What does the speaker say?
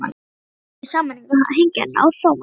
Þeim tókst svo í sameiningu að hengja hann á Thomas.